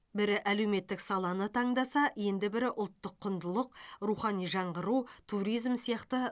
бірі әлеуметтік саланы таңдаса енді бірі ұлттық құндылық рухани жаңғыру туризм сияқты